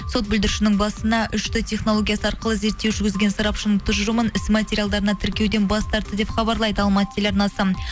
сот бүлдіршіннің басына үш д технологиясы арқылы зерттеу жүргізген сарапшының тұжырымын іс материалдарына тіркеуден бас тартты деп хабарлайды алматы телеарнасы